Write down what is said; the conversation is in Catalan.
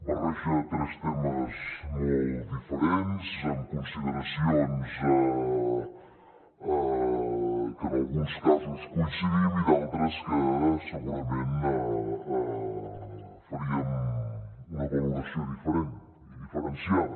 barreja tres temes molt diferents amb consideracions que en alguns casos coincidim i d’altres que segurament en faríem una valoració diferent i diferenciada